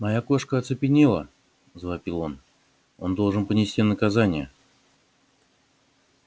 моя кошка оцепенела завопил он он должен понести наказание